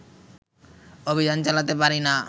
অভিযান চালাতে পারিনা